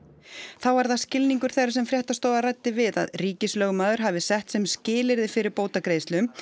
þá var það skilningur þeirra sem fréttastofa ræddi við að ríkislögmaður hafi sett sem skilyrði fyrir bótagreiðslum